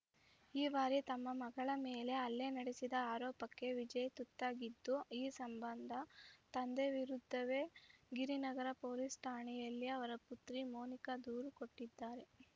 ಈ ಬಾರಿ ತಮ್ಮ ಮಗಳ ಮೇಲೆ ಹಲ್ಲೆ ನಡೆಸಿದ ಆರೋಪಕ್ಕೆ ವಿಜಯ್‌ ತುತ್ತಾಗಿದ್ದು ಈ ಸಂಬಂಧ ತಂದೆ ವಿರುದ್ಧವೇ ಗಿರಿನಗರ ಪೊಲೀಸ್‌ ಠಾಣೆಯಲ್ಲಿ ಅವರ ಪುತ್ರಿ ಮೋನಿಕಾ ದೂರು ಕೊಟ್ಟಿದ್ದಾರೆ